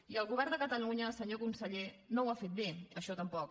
i el govern de catalunya senyor conseller no ho ha fet bé això tampoc